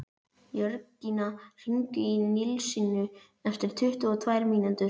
Jörgína, hringdu í Nilsínu eftir tuttugu og tvær mínútur.